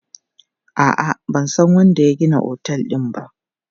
A'a, ban san wanda ya gina otel din ba.